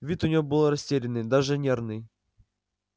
вид у неё был растерянный даже нервный